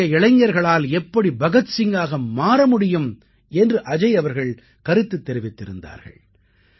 இன்றைய இளைஞர்களால் எப்படி பகத் சிங்காக மாற முடியும் என்று அஜய் அவர்கள் கருத்து தெரிவித்திருந்தார்கள்